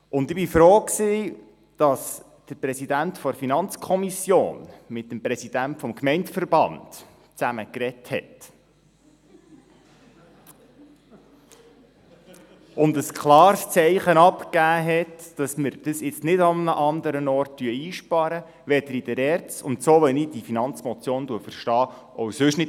Ich bin froh, dass der FiKo-Präsident mit dem VBG-Präsidenten gesprochen () und ein klares Zeichen dafür abgegeben hat, dass wir das Geld nicht an einem anderen Ort einsparen werden, weder in der ERZ – und, wie ich diese Finanzmotion () verstehe – noch sonst wo.